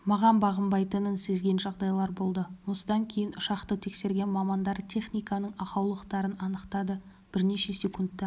маған бағынбайтынын сезген жағдайлар болды осыдан кейін ұшақты тексерген мамандар техниканың ақаулықтарын анықтады бірнеше секундта